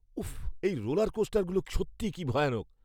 উফ্, এই রোলারকোস্টারগুলো সত্যিই কী ভয়ানক!